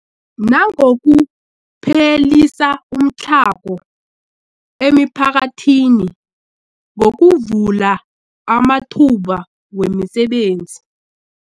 Nangokuphelisa umtlhago emiphakathini ngokuvula amathuba wemisebenzi.